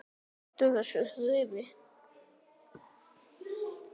Hættu þessu þrefi!